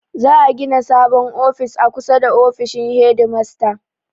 Za'a gina sabon ofis a kusa da ofishin hedimasta.